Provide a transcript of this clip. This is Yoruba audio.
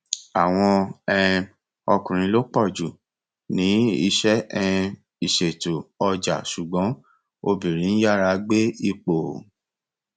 àwọn um ọkùnrin lo pọ jù ní iṣẹ um ìṣètò ọjà ṣùgbọn obìnrin ń yára gbé ipò